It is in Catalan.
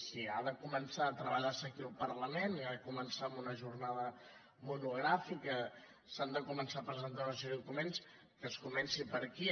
si ha de començar a treballar se aquí al parlament ha de començar amb una jornada monogràfica s’han de començar a presentar una sèrie de documents que es comenci per aquí